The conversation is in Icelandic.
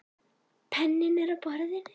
Penninn er á borðinu.